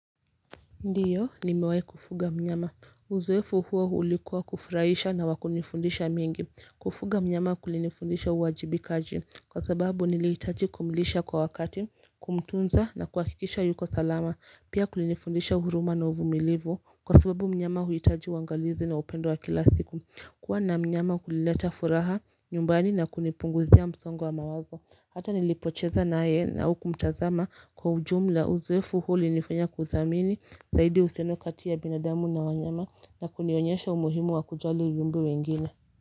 Ndiyo nimewai kufuga mnyama uzoefu huo ulikuwa kufuraisha na wa kunifundisha mengi kufuga mnyama kulinifundisha uwajibikaji kwa sababu niliitaji kumlisha kwa wakati kumtunza na kuakikisha yuko salama pia kulinifundisha huruma na uvumilivu kwa sababu mnyama huitaji uangalizi na upendo wa kila siku kuwa na mnyama kulileta furaha nyumbani na kunipunguzia msongo wa wa mawazo hata nilipocheza naye na hu kumtazama kwa ujumla uzoefu huo ulinifanya kuthamini zaidi uhusiano kati ya binadamu na wanyama na kunionyesha umuhimu wa kujali viumbe wengine.